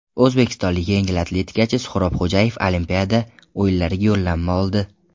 O‘zbekistonlik yengil atletikachi Suhrob Xo‘jayev Olimpiada o‘yinlariga yo‘llanma oldi.